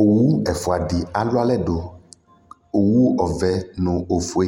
owʋ ɛfʋadi alʋ alɛdʋ owʋ ɔvɛ nu ofʋe